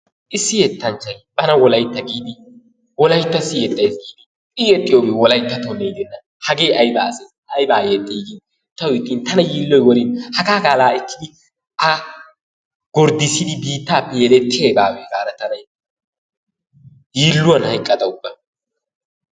Issi yettanchchay bana wolayitta giidi wolayittassi yexayis giidi i yexxiyoogee wolayittattonne gidenna. Hagee ayiba asee ayibaa yexxii gin tawu ixxin tana yiilloy worin hagaa qaalaa ekkidi a gorddissidi biittaappe yedettiyay baawe gaada tana yiilluwan hayiqqada ubba